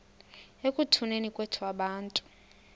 ekutuneni kwethu abantu